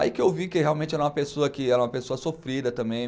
Aí que eu vi que realmente era uma pessoa que era uma pessoa sofrida também.